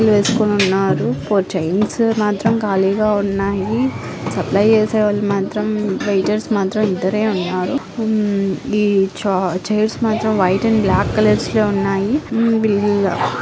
వేసుకొని ఉన్నారు. Four chairs మాత్రం ఖాళీగా ఉన్నాయి. సప్లై చేసేవారు మాత్రం వెయిటర్స్ మాత్రం ఇద్దరే ఉన్నారు. ఈ చైర్స్ మాత్రం వైట్ అండ్ బ్లాక్ కలర్స్ లో ఉన్నాయి.